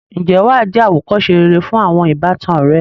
ǹjẹ́ wà á jẹ́ àwòkọ́se rere fún àwọn ìbátan rẹ.